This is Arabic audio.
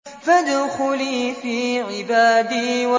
فَادْخُلِي فِي عِبَادِي